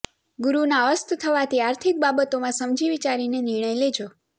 ગુરૂના અસ્ત થવાથી આર્થિક બાબતોમાં સમજી વિચારીને નિર્ણય લેજો